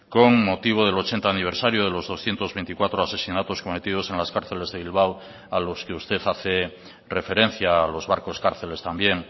con motivo del ochenta aniversario de los doscientos veinticuatro asesinatos cometidos en las cárceles de bilbao a los que usted hace referencia a los barcos cárceles también